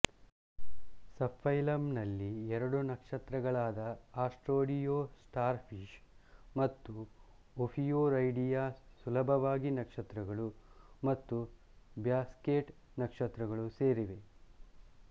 ಸಬ್ಫೈಲಮ್ನಲ್ಲಿ ಎರಡು ನಕ್ಷತ್ರಗಳಾದ Asteroidea starfish ಮತ್ತು ಒಫಿಯುರೈಡಿಯಾ ಸುಲಭವಾಗಿ ನಕ್ಷತ್ರಗಳು ಮತ್ತು ಬ್ಯಾಸ್ಕೆಟ್ ನಕ್ಷತ್ರಗಳು ಸೇರಿವೆ